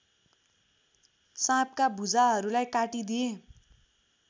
साँपका भुजाहरूलाई काटिदिए